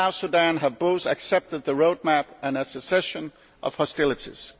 and South Sudan have both accepted the roadmap and a cessation of hostilities.